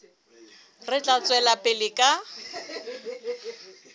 re tla tswela pele ka